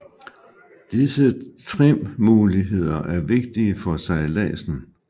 Disse trimmuligheder er vigtige for sejladsen